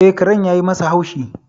E, karen yayi masa haushi.